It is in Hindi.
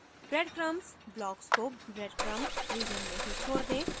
breadcrumbs block को breadcrumb region में ही छोड दें